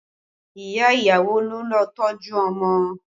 Ìyá ìyàwó ló lọ tọ́jú ọmọ